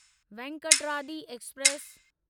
Venkatadri express